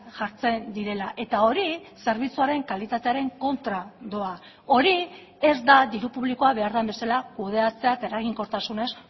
jartzen direla eta hori zerbitzuaren kalitatearen kontra doa hori ez da diru publikoa behar den bezala kudeatzea eta eraginkortasunez